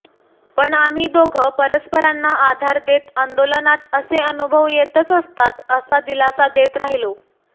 पण आम्ही दोघं परस्परांना आधार देत आंदोलनात असे अनुभव येतच असतात असा दिलासा देत राहिलो